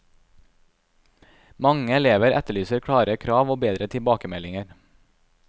Mange elever etterlyser klare krav og bedre tilbakemeldinger.